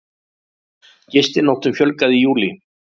Gistinóttum fjölgaði í júlí